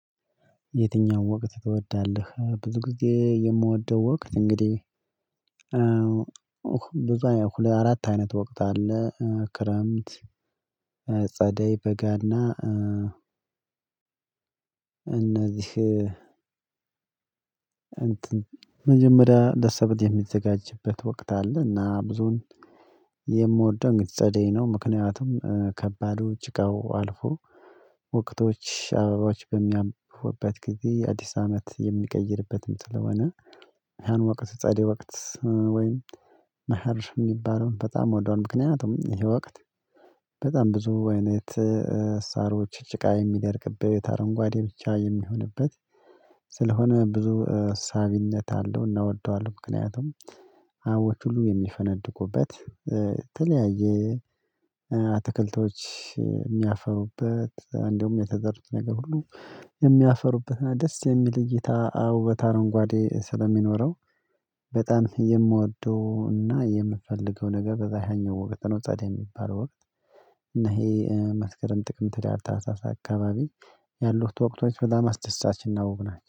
የትኛው ወቅት ትወዳለህ? ብዙ ጊዜ የምወደው ወቅት እንግዲህ በዙ ሁለ አራት አይነት ወቅት አለ ክረምት፣ ጸደይ፣ በጋና፣ እነዚህ እት መጀመሪያ ለሰብል የሚዘጋጅበት ወቅት አለና ብዙን የምወደው እንግዲህ ግጸደይ ነው። ምክንያቱም ከባዱ ጭቃው አልፎ ወቅቶች አበባዎች በሚያብቡበት የጊዜ አዲስ አመት የሚቀይርበትም ስለሆነ ያን ወቅት ጸደይ ወቅት ወይም መኽር የሚባለውን በጣም ወደዋለው ምክንያቱም ይሄ ወቅት በጣም ብዙ አይነት ሳሮች ጭቃ የሚደርቅበት አረንጓዴ ብቻ የሚሆንበት ስለሆነ ብዙ ሳቢነት አለው እና እወደዋለሁ ምክንያቱም አበቦች ሁሉ የሚፈነድቁበት ተለያየ አትክልቶች የሚያፈሩበት እንደውም የተዘሩት ነገር ሁሉ የሚያፈሩበትና ደስ የሚል እይታ አዎ በታረንጓዴ ስለሚኖረው በጣም የምወደው እና የምፈልገው ነገር በዛህኛው ወቅት ነው ጸደይ የሚባለው ወቅት እና ይሄ መስከረም፣ ጥቅም፣ ህዳር፣ ታህሳስ አካባቢ ያሉት ወቅቶች በጣም አስደሳችና ውብ ናቸው።